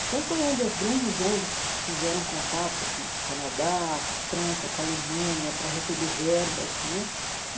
Então, foi onde as grandes ONGs fizeram contato com o Canadá, com a França, com a Alemanha, para receber verbas né.